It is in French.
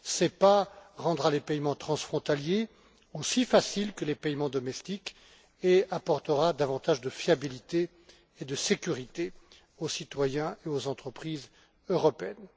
SEPA rendra les paiements transfrontaliers aussi faciles que les paiements domestiques et apportera davantage de fiabilité et de sécurité aux citoyens et aux entreprises européennes.